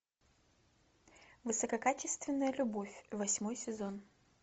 высококачественная любовь восьмой сезон